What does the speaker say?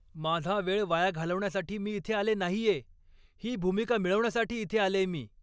माझा वेळ वाया घालवण्यासाठी मी इथे आले नाहीये! ही भूमिका मिळवण्यासाठी इथे आलेय मी.